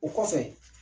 O kɔfɛ